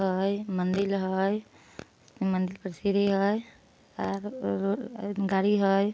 है मंदिर है मंदिर पर सीढ़ी है अ-ओ-अ गाड़ी है।